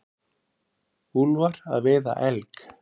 Úlfar að veiða elg.